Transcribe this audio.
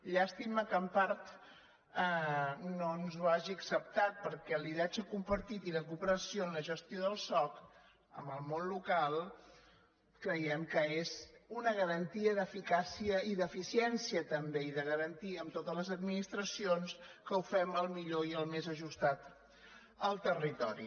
llàstima que en part no ens ho hagi acceptat perquè el lideratge compartit i la cooperació en la gestió del soc amb el món local creiem que és una garantia d’eficàcia i d’eficiència també i de garantir amb totes les administracions que ho fem el millor i el més ajustat al territori